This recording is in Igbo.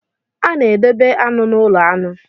A na-edobe aṅụ n'ụlọ aṅụ.